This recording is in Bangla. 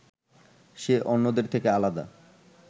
সে অন্যদের থেকে আলাদা